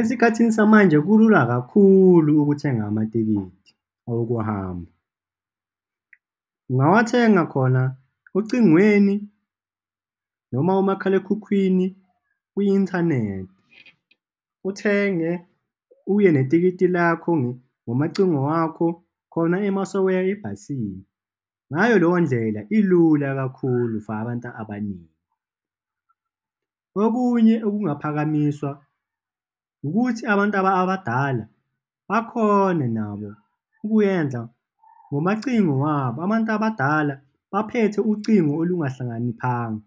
Esikhathini samanje kulula kakhulu ukuthenga amatikiti awokuhamba. Ungawathenga khona ocingweni noma umakhalekhukhwini, kwi-inthanethi, uthenge uye netikiti lakho, ngomacingo wakho khona masewuya ebhasini. Ngayo leyo ndlela, ilula kakhulu for abantu abaningi. Okunye okungaphakamiswa ukuthi abantu abadala bakhone nabo ukuyenza ngomacingo wabo, abantu abadala baphethe ucingo olungahlakaniphanga